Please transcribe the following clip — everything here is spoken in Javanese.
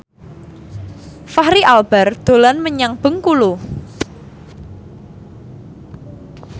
Fachri Albar dolan menyang Bengkulu